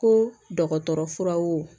Ko dɔgɔtɔrɔ furaw